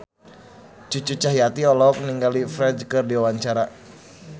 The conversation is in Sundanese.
Cucu Cahyati olohok ningali Ferdge keur diwawancara